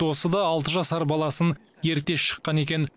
досы да алты жасар баласын ерте шыққан екен